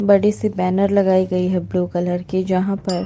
बड़ी सी बैनर लगाई गई हुई है ब्लू कलर की जहाँ पर--